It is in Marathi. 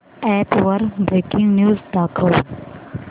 अॅप वर ब्रेकिंग न्यूज दाखव